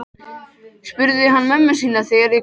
spurði hann mömmu sína þegar hann kom inn.